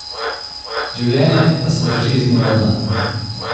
Življenje pa se draži iz dneva v dan.